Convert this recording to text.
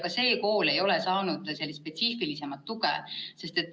Ka see kool ei ole saanud spetsiifilisemat tuge.